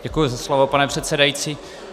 Děkuji za slovo, pane předsedající.